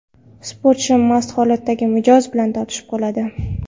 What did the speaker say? Sportchi mast holatdagi mijoz bilan tortishib qoladi.